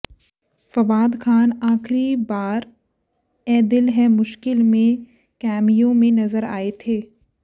फवाद खान आखिरी बाद ऐ दिल है मुश्किल में कैमियो में नजर आए थ